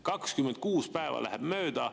26 päeva läheb mööda.